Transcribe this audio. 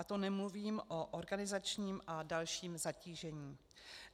A to nemluvím o organizačním a dalším zatížení.